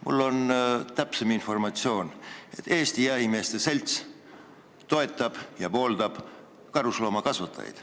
Mul on täpsem informatsioon: Eesti Jahimeeste Selts toetab ja pooldab karusloomakasvatajaid.